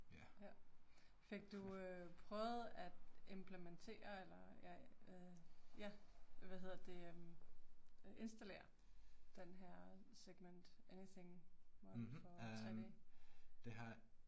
Ja. Fik du øh prøvet at implementere eller ja øh ja, hvad hedder det øh øh installere den her segement anything model for 3D?